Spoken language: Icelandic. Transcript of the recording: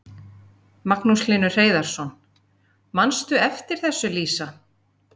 Magnús Hlynur Hreiðarsson: Manstu eftir þessu Lísa?